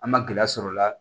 An ma gɛlɛya sɔrɔ o la